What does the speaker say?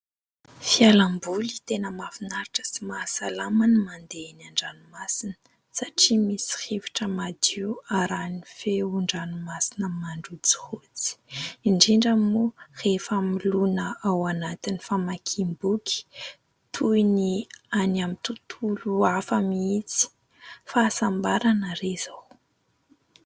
Fialamboly tena mahafinaritra sy mahasalama ny mandeha eny an-dranomasina satria misy rivotra madio arahin' ny feon-dranomasina mandrotsirotsy, indrindra moa rehefa miloana ao anaty famakiam-boky toy ny any amin'ny tontolo hafa mihitsy, fahasambarana re izao.